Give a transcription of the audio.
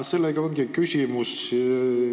Siit küsimus.